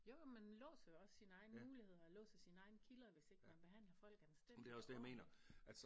Jo jo man låser jo også sine egne muligheder og låser sine egne kilder hvis ikke man behandler folk anstændigt og ordentligt